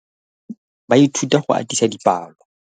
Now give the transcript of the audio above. Baithuti ba ithuta go atisa dipalô.